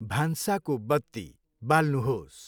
भान्साको बत्ती बाल्नुहोस्।